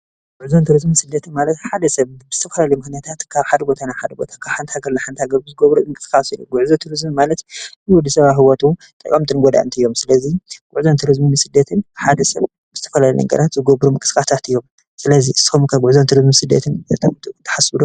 ጉዕዞን ቱሪዝምን ስደትን ማለት ሓደ ሰብ ብዝተፈላለዩ ምክንያታት ካብ ሓደ ቦታ ናብ ሓደ ቦታ ካብ ሓንቲ ሃገር ናብ ሓንቲ ሃገር ብዝገብሮ ምንቅስቃስ እዩ። ጉዕዞን ቱሪዝም ማለት ንወድሰባት ኣብ ሂወቱ ጠቀምትን ጎዳእትን እዮም ።ስለዚ ጉዕዞን ቱሪዝምን ስደትን ሓደ ሰብ ብዝተፈላለዩ ነገራት ዝገብሮ ምንቅስቃሳት እዮም። ስለዚ ንስኹም ከ ጉዕዞን ቱሪዝምን ስደትን ንከብቅዕ ትሓስቡ ዶ?